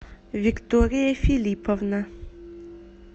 виктория филипповна